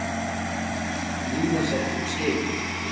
Nína setti upp skeifu.